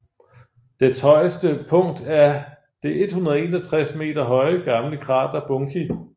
Dets højeste punkt er det 161 meter høje gamle krater Bunki